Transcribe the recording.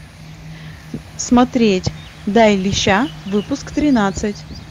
смотреть дай леща выпуск тринадцать